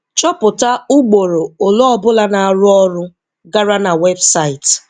Chọpụta ụgboro ole obula na arụ ọrụ gara na website.